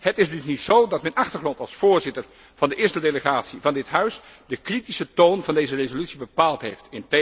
Het is dus niet zo dat mijn achtergrond als voorzitter van de eerste delegatie van dit huis de kritische toon van deze resolutie bepaald heeft.